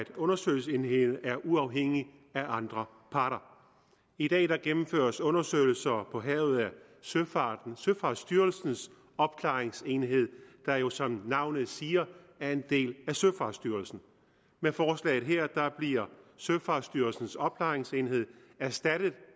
undersøgelsesenheden er uafhængig af andre parter i dag gennemføres undersøgelser af ulykker på havet af søfartsstyrelsens opklaringsenhed der jo som navnet siger er en del af søfartsstyrelsen med forslaget her bliver søfartsstyrelsens opklaringsenhed erstattet